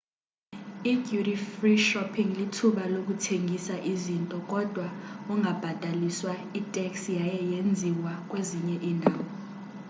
i-duty free shopping lithuba lokuthenga izinto kodwa ungabhataliswa itax yaye yenziwa kwezinye indawo